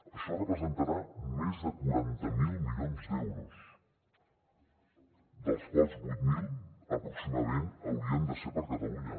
això representarà més de quaranta miler milions d’euros dels quals vuit mil aproximadament haurien de ser per a catalunya